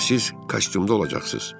Həm də siz kostyumda olacaqsınız.